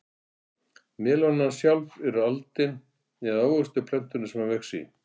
Melónan sjálf er aldin eða ávöxtur plöntunnar sem hún vex á.